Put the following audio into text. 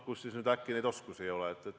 Kuidas siis nüüd äkki neid oskusi ei ole?